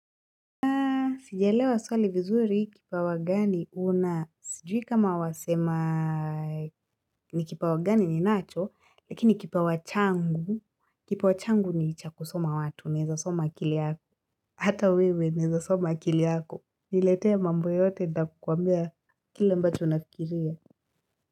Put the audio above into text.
Sijaelewa swali vizuri kipawa gani huna. Sijui kama wasema ni kipawa gani ninacho, lakini kipawa changu ni cha kusoma watu, naeza soma akili yako. Hata wewe naeza soma akili yako. Niletee mambo yote nitakwambia kila ambacho unafikiria.